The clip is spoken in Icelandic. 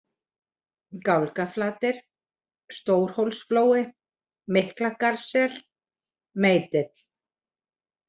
Gálgaflatir, Stórhólsflói, Miklagarðssel, Meitill